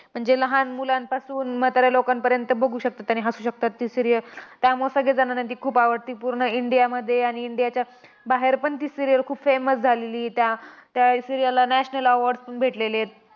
म्हणजे लहान मुलांपासून म्हाताऱ्या लोकांपर्यंत बघू शकतात, आणि हसू शकतात ती serial. त्यामुळे सगळ्या जणांना ती खूप आवडते. पूर्ण इंडियामध्ये आणि इंडियाच्या बाहेरपण ती serial खूप famous झालेली. त्या त्या serial ला national award पण भेटलेले आहेत.